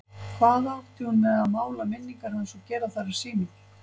Hvað átti hún með að mála minningar hans og gera þær að sínum?